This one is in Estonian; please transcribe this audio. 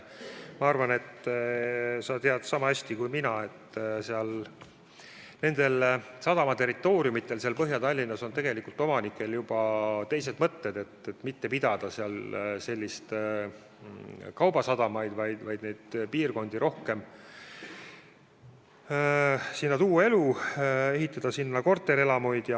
Ma arvan, et sa tead niisama hästi kui mina, et nende sadamaterritooriumide omanikel Põhja-Tallinnas on tegelikult juba teised mõtted, neil on plaan mitte pidada seal kaubasadamat, vaid tuua sinna elu ja ehitada korterelamuid.